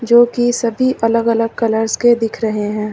जो कि सभी अलग अलग कलर्स के दिख रहे हैं।